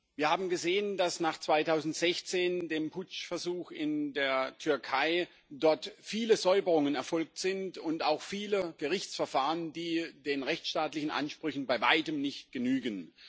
Wir haben gesehen, dass nach 2016 nach dem Putschversuch in der Türkei dort viele Säuberungen erfolgt sind und auch viele Gerichtsverfahren, die den rechtsstaatlichen Ansprüchen bei weitem nicht genügen.